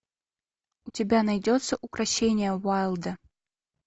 у тебя найдется укрощение уайлда